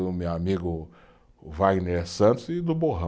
Do meu amigo Wagner Santos e do Borrão.